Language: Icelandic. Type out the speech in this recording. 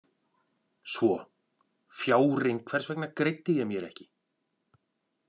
Svo: Fjárinn, hvers vegna greiddi ég mér ekki?